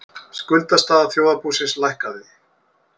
Skuldastaða þjóðarbúsins lækkaði